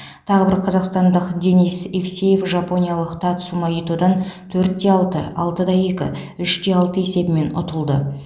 тағы бір қазақстандық денис евсеев жапониялық татсума итодан төрт те алты алты да екі үш те алты есебімен ұтылды